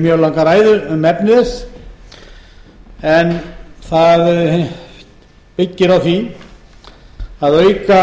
mjög langa ræðu um efni þess það byggir á því að auka